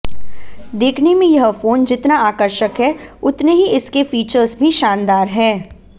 देखने में यह फोन जितना आकर्षक है उतने ही इसके फीचर्स भी शानदार हैं